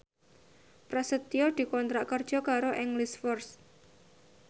Prasetyo dikontrak kerja karo English First